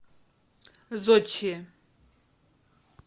зодчие